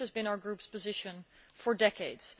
This has been our group's position for decades.